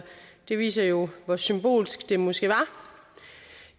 det viser jo hvor symbolsk det måske var